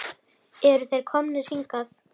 Eru þeir komnir hingað?